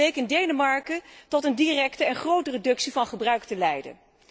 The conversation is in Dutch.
Dat bleek in Denemarken tot een directe en grote reductie van gebruik te leiden.